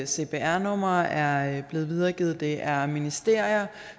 cpr numre er blevet videregivet det er ministerier